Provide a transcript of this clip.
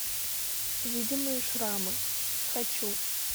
видимые шрамы хочу